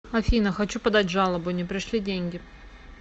афина хочу подать жалобу не пришли деньги